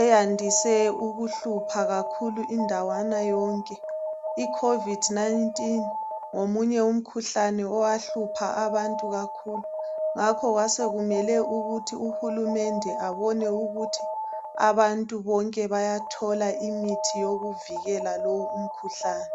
eyandise ukuhlupha kakhulu indaweni yonke. Icovid 19 ngomunye umkhuhlane owahlupha abantu kakhulu ngakho kwasokumele ukuthi uhulumende abone ukuthi abantu bonke bayathola imithi yokuvikela lowu umkhuhlane.